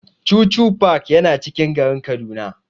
Chuchu park yana cikin garin Kaduna.